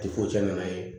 cɛ nana an ye